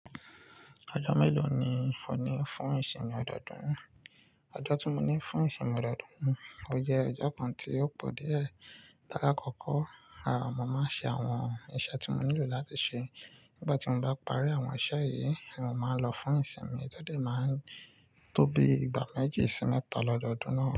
Ọjọ́ mélòó ni o ní fún ìsinmi ọdọọdún? Ọjọ́ tí mo ní fún ìsinmi ọdọọdún, ó jẹ́ ọjọ́ kan tí ó pọ̀ díẹ̀. Láàkọ́kọ́, mo máa ń ṣe àwọn iṣẹ́ tí mo nílò láti ṣe. Nígbà tí mo bá parí àwọn iṣẹ́ yìí, mo máa lọ fún ìsinmi. Ìsìnmi tó dé máa ń tó bí i ìgbà méjì sí mẹ́ta lọ́dọọdún náà.